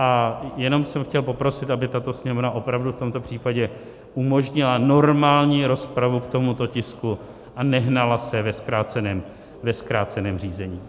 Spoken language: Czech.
A jenom jsem chtěl poprosit, aby tato Sněmovna opravdu v tomto případě umožnila normální rozpravu k tomuto tisku a nehnala se ve zkráceném řízení.